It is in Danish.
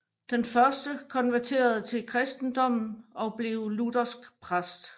Den første konverterede til kristendommen og blev luthersk præst